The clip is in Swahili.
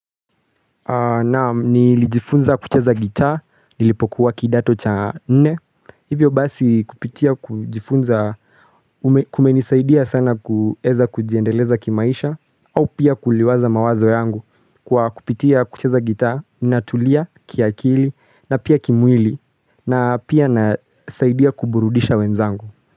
Naam nilijifunza kucheza gitaa, nilipokuwa kidato cha nne Hivyo basi kupitia kujifunza kumenisaidia sana kueza kujiendeleza kimaisha au pia kuliwaza mawazo yangu kwa kupitia kucheza gitaa, natulia, kiakili na pia kimwili na pia nasaidia kuburudisha wenzangu.